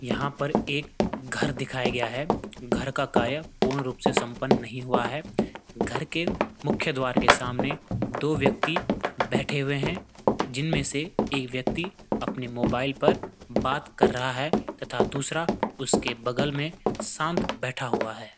यहाँ पर एक घर दिखया गया है घर का कार्य पूर्ण रूप से सम्पन नहीं हुआ है। घर के मुख्या द्वार के सामने दो व्यक्ति बैठे हुए हैं जिनमें से एक व्यक्ति अपने मोबाईल पर बात कर रहा है तथा दूसरा उसके बगल में शांत बैठा हुआ है।